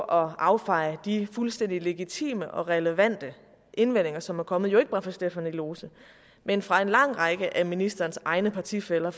affeje de fuldstændig legitime og relevante indvendinger som er kommet ikke bare fra stephanie lose men fra en lang række af ministerens egne partifæller